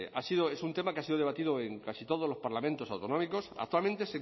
es un tema que ha sido debatido en casi todos los parlamentos autonómicos actualmente